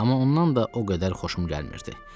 Amma ondan da o qədər xoşum gəlmirdi.